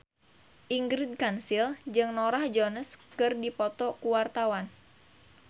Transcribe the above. Ingrid Kansil jeung Norah Jones keur dipoto ku wartawan